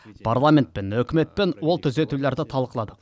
парламентпен үкіметпен ол түзетулерді талқыладық